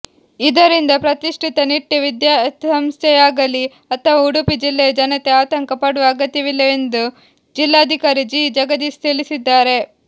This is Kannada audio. ಇದರಿಂದ ಪ್ರತಿಷ್ಠಿತ ನಿಟ್ಟೆ ವಿದ್ಯಾಸಂಸ್ಥೆಯಾಗಲಿ ಅಥವಾ ಉಡುಪಿ ಜಿಲ್ಲೆಯ ಜನತೆ ಆತಂಕ ಪಡುವ ಅಗತ್ಯವಿಲ್ಲವೆಂದು ಜಿಲ್ಲಾಧಿಕಾರಿ ಜಿ ಜಗದೀಶ್ ತಿಳಿಸಿದ್ದಾರೆ